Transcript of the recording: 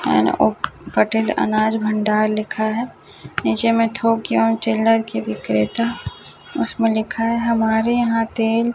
पटेल अनाज भंडार लिखा है नीचे में थोक एवं चिल्लर के बिक्रेता उसमें लिखा है हमारे यहाँ तेल --